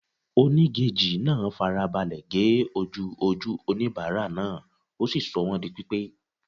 Onígejì náà fara balẹ̀ ge ojú ojú oníbàárà náà, ó sì sọ wọ́n di pípé.